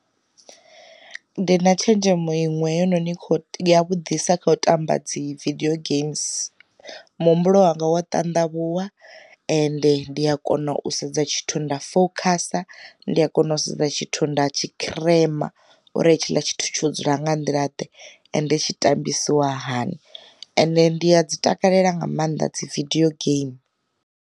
Ndi na tshenzhemo iṅwe yono ni kho vhudisa kha u tamba dzi vidio geims, mu humbulo wanga wa tandavhuwa ende ndi a kona u sedza tshithu nda fokhasa, ndi a kona u sedza tshithu nda tshi khirema uri hetshiḽa tshithu tsho dzula nga nḓila ḓe ende tshi tambesiwa hani, ende ndi a dzi takalela nga maanḓa dzi vidio geimi.